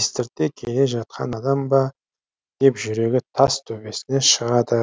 естірте келе жатқан адам ба деп жүрегі тас төбесіне шығады